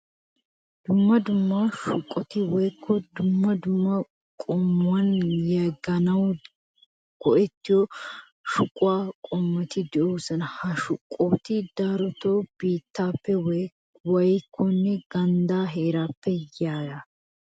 Dumma dumma shuqoti woykko dumma dumma quman yegganawu go'ettiyo shuquwa qommoti de'oosona. Ha shuqoti darotoo biittaappe mokkiyanne ganddaa heeraappe yiyaba.